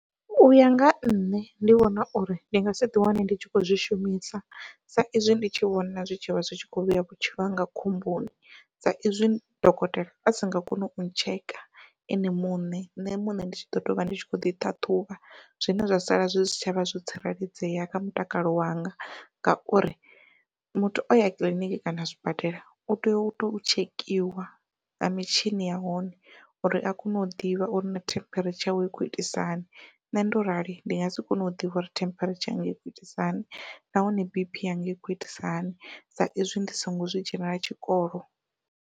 Uya nga nṋe ndi vhona uri ndi nga si ḓi wane ndi tshi kho zwi shumisa sa izwi ndi tshi vhona zwi tshivha zwi tshi kho vhea vhutshilo hanga khomboni. Sa izwi dokotela a si nga koni u tsheka ene muṋe nṋe muṋe ndi tshi ḓo tovha ndi tshi kho ḓi ṱhaṱhuvha zwine zwa sala zwi si tshavha zwo tsireledzea kha mutakalo wanga, ngauri muthu oya kiḽiniki kana zwibadela u tea uto tshekhiwa nga mitshini ya hone uri a kone u ḓivha uri na temperature yawe i khou itisa hani. Nṋe ndo rali ndi nga si kone u ḓivha uri temperature yanga ikho itisa hani nahone b_p yanga ikho itisa hani sa izwi ndi songo zwi dzhenela tshikolo.